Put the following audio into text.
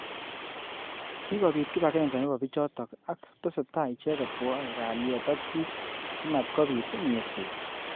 Kikobit kibagenge nebo bichotok.ak.tesetai icheket kwoe kalyet ak.bik. simatkobit nyerset.